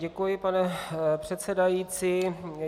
Děkuji, pane předsedající.